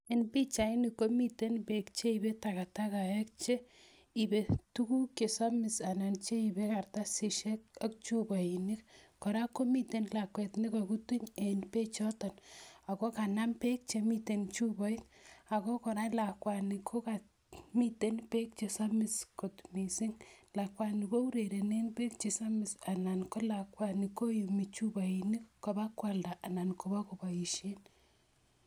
Eng pichainik komiten beek cheipei takatakek cheipe tuguk chesamis anan cheipe karatasisiek ak chupainik. Kora komitei lakwet ne kakutuny eng beecheto ako kanam beek chemiten eng chupait ako kora lakwani kokamiten beek che samis kot mising. Lakwani kourerenen beek che samis anan ko lakwani koyumi chupainik kopakwalda anan kopakopoishen.